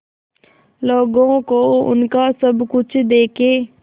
लोगों को उनका सब कुछ देके